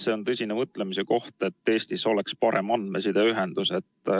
See on tõsine mõtlemise koht, et Eestis oleks parem andmesideühendus.